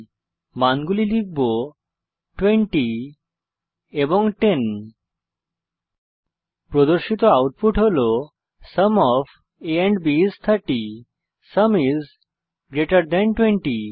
আমি মানগুলি লিখব 20 এবং 10 প্রদর্শিত আউটপুট হল sum of a and b is 30 sum is greater than 20